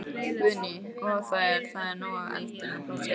Guðný: Og það er, það er nóg af eldunarplássi hérna?